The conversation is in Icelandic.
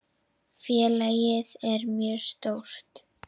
Félagið er mjög stórt.